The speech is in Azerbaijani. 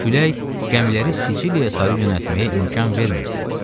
Külək gəmiləri Siciliyaya sarı yönəltməyə imkan vermirdi.